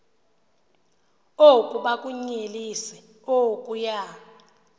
oku bakunyelise okuya